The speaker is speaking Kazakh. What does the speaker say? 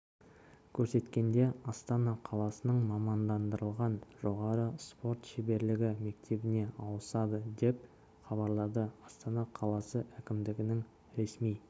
көрсеткенде астана қаласының мамандандырылған жоғары спорт шеберлігі мектебіне ауысады деп хабарлады астана қаласы әкімдігінің ресми